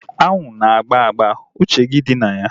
Anwụ na agba agba. Uche gị dị na ya